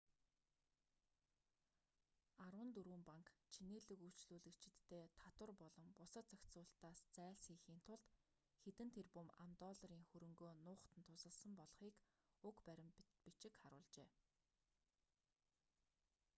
арван дөрвөн банк чинээлэг үйлчлүүлэгчиддээ татвар болон бусад зохицуулалтаас зайлсхийхийн тулд хэдэн тэрбум ам.долларын хөрөнгөө нуухад нь тусалсан болохыг уг баримт бичиг харуулжээ